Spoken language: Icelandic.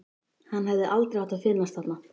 Hann hefði aldrei átt að finnast þarna.